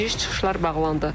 Giriş-çıxışlar bağlandı.